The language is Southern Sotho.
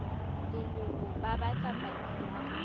leloko ba batla paki ya